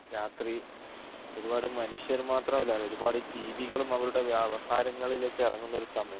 രാത്രി ഒരുപാട് മനുഷ്യർ മാത്രം അല്ല ഒരുപാട് ജീവികളും അവരുടെ വ്യവഹാരങ്ങളേക് ഇറങ്ങുന്ന ഒരു സമയം